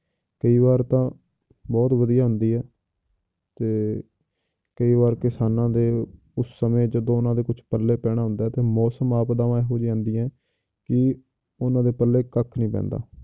ਕਈ ਵਾਰ ਤਾਂ ਬਹੁਤ ਵਧੀਆ ਹੁੰਦੀ ਹੈ ਤੇ ਕਈ ਵਾਰ ਕਿਸਾਨਾਂ ਦੇ ਉਸ ਸਮੇਂ ਜਦੋਂ ਉਹਨਾਂ ਦੇ ਕੁਛ ਪੱਲੇ ਪੈਣਾ ਹੁੰਦਾ ਹੈ ਤੇ ਮੌਸਮ ਆਪਦਾਵਾਂ ਇਹੋ ਜਿਹੀ ਆਉਂਦੀਆਂ ਹੈ ਕਿ ਉਹਨਾਂ ਦੇ ਪੱਲੇ ਕੱਖ ਨੀ ਪੈਂਦਾ,